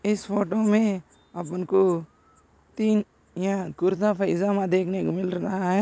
इस फोटो मे अपुन को तीन यह कुर्ता पैजमा देखने को मिल रहा है।